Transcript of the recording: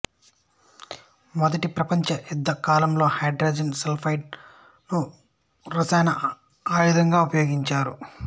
మొదటి ప్రపంచ యుద్ధ కాలంలో హైడ్రోజన్ సల్ఫైడ్ ను రసాయన ఆయుధంగా ఉపయోగించారు